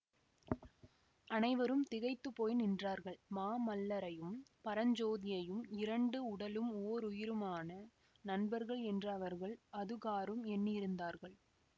அனைவரும் திகைத்து போய் நின்றார்கள் மாமல்லரையும் பரஞ்சோதியையும் இரண்டு உடலும் ஓருயிருமான நண்பர்கள் என்று அவர்கள் அதுகாறும் எண்ணியிருந்தார்கள்